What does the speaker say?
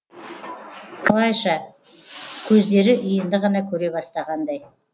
қалайша көздері енді ғана көре бастағандай